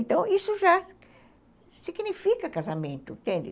Então, isso já significa casamento, entende?